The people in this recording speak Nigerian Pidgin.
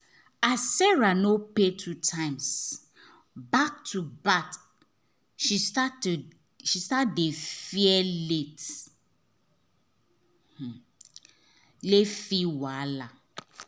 as sarah no pay two times back to back she start to she start to fear late late fee wahala.